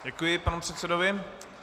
Děkuji panu předsedovi.